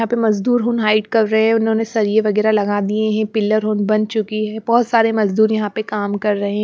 यहां पे मजदूर होन हाइड कर रहे हैं उन्होंने सरिए वगैरह लगा दिए हैं पिलर होन बन चुकी है बहुत सारे मजदूर यहां पे काम कर रहे हैं।